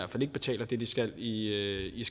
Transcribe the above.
ikke betaler det de skal i i